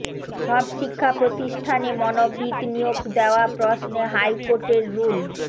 সব শিক্ষা প্রতিষ্ঠানে মনোবিদ নিয়োগ দেওয়া প্রশ্নে হাইকোর্টের রুল